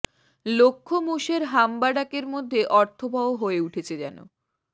লক্ষ মোষের হাম্বা ডাকের মধ্যে অর্থবহ হয়ে উঠেছে যেন